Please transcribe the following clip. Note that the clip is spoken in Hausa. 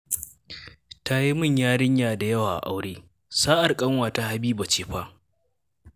Ta yi min yarinya da yawa a aure, sa'ar ƙanwata Hibba ce fa